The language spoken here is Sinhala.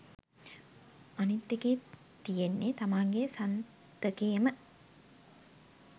අනිත් එකේ තියෙන්නේ තමන්ගේ සන්තකේම